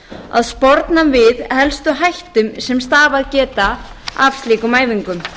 að sporna við helstu hættum sem stafað geta af slíkum æfingum